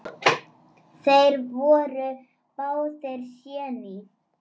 Þeir voru báðir séní.